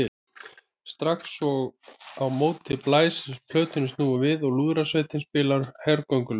Strax og á móti blæs er plötunni snúið við og lúðrasveitin spilar hergöngulög.